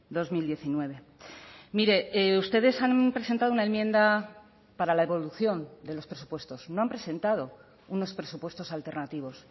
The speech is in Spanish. dos mil diecinueve mire ustedes han presentado una enmienda para la evolución de los presupuestos no han presentado unos presupuestos alternativos